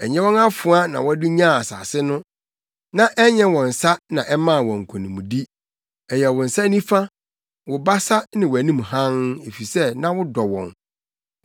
Ɛnyɛ wɔn afoa na wɔde nyaa asase no, na ɛnyɛ wɔn nsa na ɛmaa wɔn nkonimdi; ɛyɛ wo nsa nifa, wo basa, ne wʼanim hann, efisɛ na wodɔ wɔn.